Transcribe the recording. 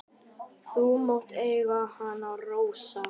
Þú mátt eiga hana, Rósa.